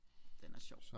Den er sjov